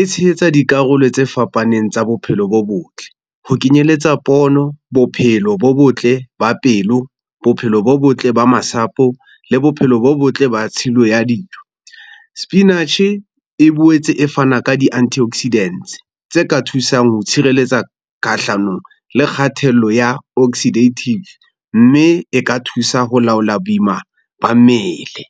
E tshehetsa dikarolo tse fapaneng tsa bophelo bo botle. Ho kenyelletsa pono, bophelo bo botle ba pelo, bophelo bo botle ba masapo le bophelo bo botle ba tshilo ya dijo. Sepinatjhe e boetse e fana ka di-anti oxidants tse ka thusang ho tshireletsa kahlanong le kgathello ya oxidative, mme e ka thusa ho laola boima ba mmele.